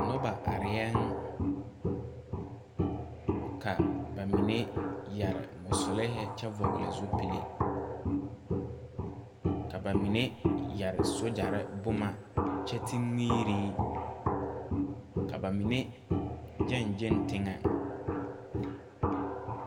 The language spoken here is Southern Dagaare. Nobɔ arɛɛyɛŋ ka ba mine yɛre mɔsilɛɛhi kyɛ vɔgle zupile ka ba mine yɛre sogyɛrre boma kyɛ ti miire ka ba mine gyɛŋ gyɛŋ teŋɛŋ.